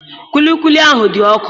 Kwilikwili ahụ dị ọkụ.